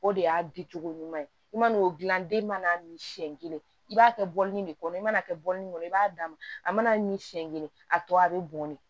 O de y'a dicogo ɲuman ye i mana o dilan den mana min siɲɛ kelen i b'a kɛ bɔlini de kɔnɔ i mana kɛ bɔlini kɔnɔ i b'a d'a ma a mana min siɲɛ kelen a tɔ a bɛ bɔn ne